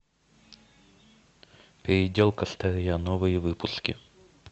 переделка старья новые выпуски